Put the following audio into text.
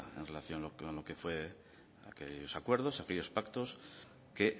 en relación con lo que fue aquellos acuerdos aquellos pactos que